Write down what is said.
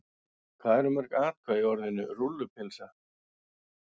Hvað eru mörg atkvæði í orðinu rúllupylsa?